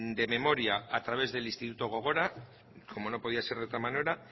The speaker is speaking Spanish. de memoria a través del instituto gogora como no podía ser de otra manera